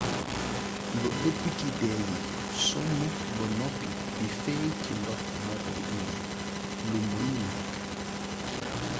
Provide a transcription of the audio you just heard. lu ëpp ci dee yi sonn ba noppi di fééy ci ndox mokoy indi lu meenul nékk